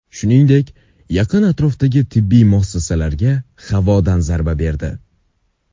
Shuningdek, yaqin atrofdagi tibbiy muassasalarga havodan zarba berdi.